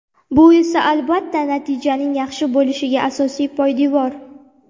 Bu esa albatta, natijaning yaxshi bo‘lishiga asosiy poydevor.